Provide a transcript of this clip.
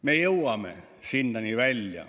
Me jõuame sinnani välja.